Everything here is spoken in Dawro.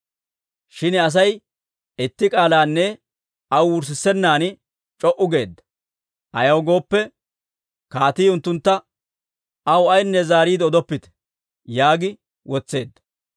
Shin Asay itti k'aalanne aw wurissenaan c'o"u geedda. Ayaw gooppe, kaatii unttuntta, «Aw ayinne zaariide odoppite» yaagi wotseedda.